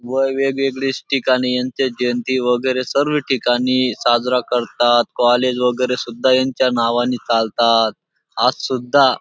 व वेगवेगळी ठिकाणी यांची जयंती वगैरे सर्व ठिकाणी साजरा करतात कॉलेज वगैरे सुद्धा यांच्या नावाने चालतात आज सुद्धा --